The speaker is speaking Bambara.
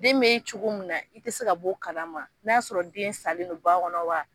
Den be cogo min na, i ti se ka b'o kalama, n'a y'a sɔrɔ den salen non ba kɔnɔ wa